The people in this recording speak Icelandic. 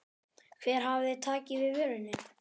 Hver hafi tekið við vörunni?